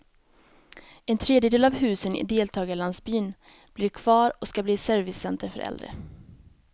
En tredjedel av husen i deltagarlandsbyn blir kvar och ska bli servicecenter för äldre.